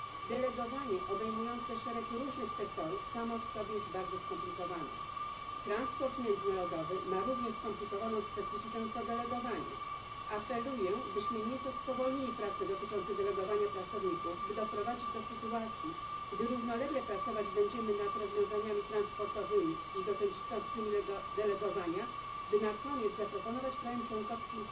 Delegowanie obejmujące szereg różnych sektorów samo w sobie jest bardzo skomplikowane. Transport międzynarodowy ma równie skomplikowaną specyfikę co delegowanie. Apeluję, byśmy nieco spowolnili prace nad delegowaniem pracowników i doprowadzili do sytuacji, gdy równolegle pracować będziemy nad rozwiązaniami transportowymi i rozwiązaniami dotyczącymi delegowania, a na koniec zaproponujemy państwom członkowskim